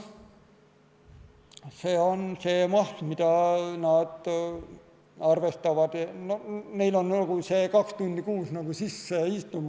See on see maht, mida nad arvestavad, see kaks tundi kuus on sinna nagu sisse istunud.